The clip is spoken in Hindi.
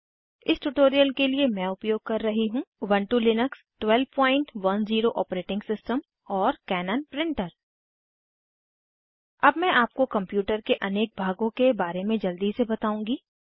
इस ट्यूटोरियल के लिए मैं उपयोग कर रही हूँ उबन्टु लिनक्स 1210 ओएस और कैनन प्रिंटर अब मैं आपको कंप्यूटर के अनेक भागों के बारे में जल्दी से बताउंगी